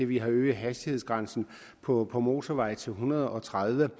vi har øget hastighedsgrænsen på på motorveje til en hundrede og tredive